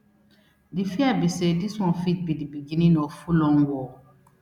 di fear be say dis one fit be di beginning of fullon war